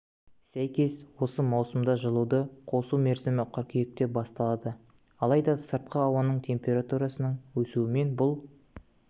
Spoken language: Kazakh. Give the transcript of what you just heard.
сәйкес осы маусымда жылуды қосу мерзімі қыркүйекте басталады алайда сыртқы ауаның оң температурасының өсуімен бұл